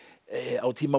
á tíma